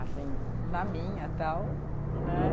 Assim, na minha, tal, né?